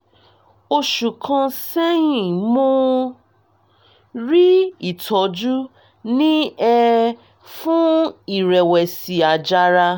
oṣù kan sẹ́yìn mo rí ìtọ́jú ní er fún "ìrẹ̀wẹ̀sì àjàrà"